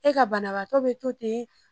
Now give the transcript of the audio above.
E ka banabagatɔ bɛ to ten.